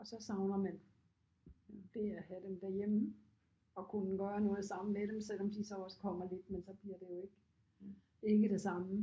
Og så savner man det at have dem derhjemme og kunne gøre noget sammen med dem selvom de så også kommer lidt men så bliver det jo ikke ikke det samme